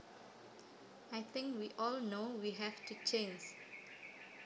I think we all know we have to change